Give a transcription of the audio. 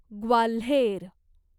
Gwalior